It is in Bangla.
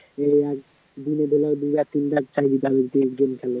দিনেরবেলা